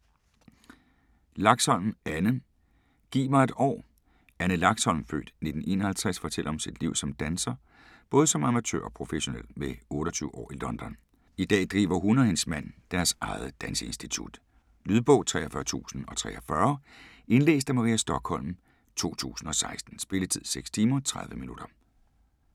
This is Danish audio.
Laxholm, Anne: Giv mig et år Anne Laxholm (f. 1951) fortæller om sit liv som danser, både som amatør og professionel, med 28 år i London. I dag driver hun og hendes mand deres eget danseinstitut. Lydbog 43043 Indlæst af Maria Stokholm, 2016. Spilletid: 6 timer, 30 minutter.